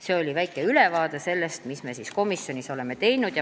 See oli väike ülevaade sellest, mis me oleme komisjonis teinud.